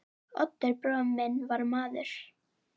Oddur bróðir minn var maður.